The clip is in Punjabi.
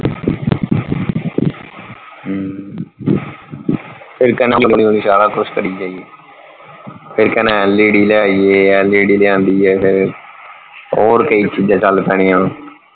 ਹਮ ਸਾਰਾ ਕੁੱਛ ਕਰੀ ਜਾਇਏ, ਫਿਰ ਕਹਿਣਾ LED ਲੈ ਆਈਏ LED ਲਿਆਂਦੀ ਆ ਫਿਰ ਹੋਰ ਕਈ ਚੀਜ਼ਾਂ ਚਲ ਪੈਣੀਆਂ।